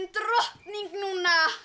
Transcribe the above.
drottning núna